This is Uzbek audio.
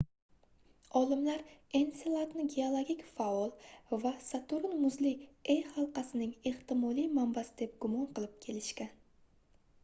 olimlar enseladni geologik faol va saturn muzli e halqasining ehtimoliy manbasi deb gumon qilib kelishgan